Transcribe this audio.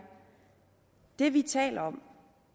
det vi taler om